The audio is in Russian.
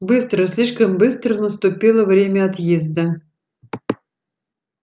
быстро слишком быстро наступило время отъезда